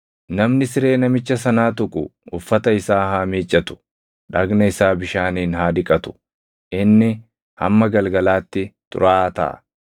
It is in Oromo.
Namni siree namicha sanaa tuqu uffata isaa haa miiccatu; dhagna isaa bishaaniin haa dhiqatu; inni hamma galgalaatti xuraaʼaa taʼa.